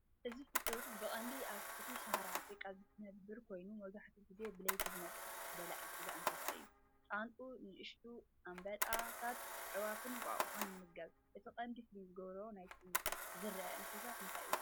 እዚ ፍጡር ብቐንዱ ኣብ ትሕቲ ሰሃራ ኣፍሪቃ ዝነብር ኮይኑ፡ መብዛሕትኡ ግዜ ብለይቲ ዝነጥፍ በላዒ ስጋ እንስሳ እዩ። ጣንጡ፡ ንኣሽቱ ኣንበጣታት፡ ኣዕዋፍን እንቋቑሖን ይምገብ። እቲ ቀንዲ ፍሉይ ዝገብሮ ናይቲ ዝተርኣየ እንስሳ እንታይ እዩ?